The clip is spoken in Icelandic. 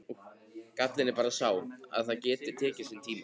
Gallinn er bara sá að það getur tekið sinn tíma.